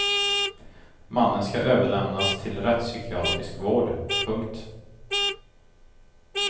Mannen ska överlämnas till rättspsykiatrisk vård. punkt